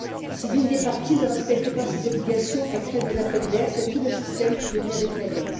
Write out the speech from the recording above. Si l'une des parties ne respecte pas ses obligations, elle crée des appels d'air, c'est tout le système qui devient défaillant.